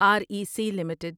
are E C limited